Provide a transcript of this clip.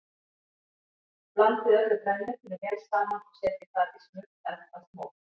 Blandið öllu grænmetinu vel saman og setjið það í smurt eldfast mót.